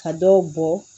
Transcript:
Ka dɔw bɔ